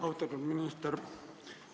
Austatud minister!